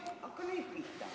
Hakka nüüd pihta!